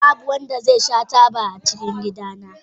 Babu wanda zai sha taba a gidana.